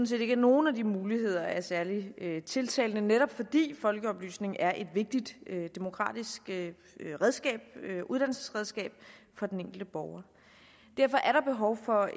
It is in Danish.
set ikke at nogen af de muligheder er særlig tiltalende netop fordi folkeoplysning er et vigtigt demokratisk uddannelsesredskab for den enkelte borger derfor er der behov for